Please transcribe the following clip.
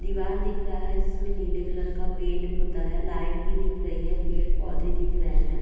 दिवार दिख रहा है जिसमे नील कलर का पेंट पुता है | लाइट भी दिख रही है | पेड पौधे दिख रहे हैं |